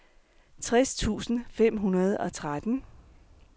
tres tusind fem hundrede og tretten